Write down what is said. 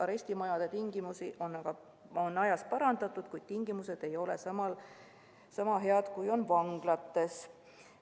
Arestimajade tingimusi on ajas parandatud, aga tingimused ei ole seal sama head kui vanglates.